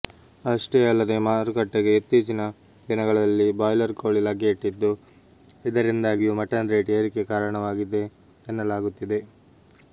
ಅಷ್ಟೇ ಅಲ್ಲದೆ ಮಾರುಕಟ್ಟೆಗೆ ಇತ್ತಿಚ್ಚಿನ ದಿನಗಳಲ್ಲಿ ಬೌಯ್ಲರ್ ಕೋಳಿ ಲಗ್ಗೆ ಇಟ್ಟಿದ್ದು ಇಂದರಿಂದಾಗಿಯೂ ಮಟನ್ ರೇಟ್ ಏರಿಕೆ ಕಾರಣವಾಗಿದೆ ಎನ್ನಲಾಗುತ್ತಿದೆ